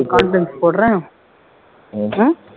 conference போடுறேன் உம்